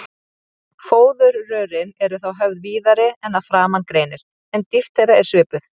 Fóðurrörin eru þá höfð víðari en að framan greinir, en dýpt þeirra er svipuð.